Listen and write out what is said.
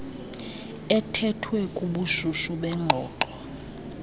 ethethwe kubushushu bengxoxo